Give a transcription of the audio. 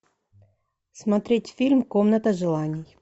смотреть фильм комната желаний